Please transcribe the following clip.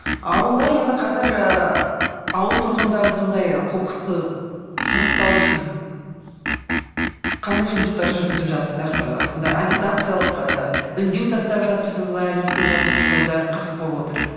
ауылда енді қазір ы ауыл тұрғындары сондай қоқысты сұрыптау үшін қандай жұмыстар жүргізіп жатсыздар ы сондай ы агитациялық ы үндеу тастап жатырсыз ба не істеп жатырсыз сол жағы қызық болып отыр